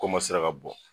Komasera ka bɔ